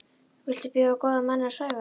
Viltu biðja góða manninn að svæfa þig?